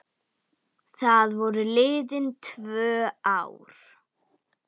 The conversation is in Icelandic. Þá voru liðin tvö ár.